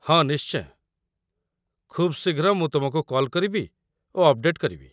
ହଁ, ନିଶ୍ଚୟ, ଖୁବ୍ ଶୀଘ୍ର ମୁଁ ତୁମକୁ କଲ୍ କରିବି ଓ ଅପ୍‌ଡେଟ୍ କରିବି।